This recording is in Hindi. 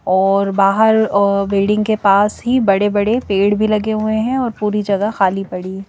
और बाहर और बेल्डिंग के पास ही बड़े-बड़े पेड़ भी लगे हुए हैं और पूरी जगह खाली पड़ी है।